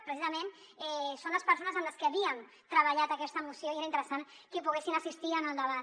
precisament són les persones amb les que havíem treballat aquesta moció i era interessant que poguessin assistir en el debat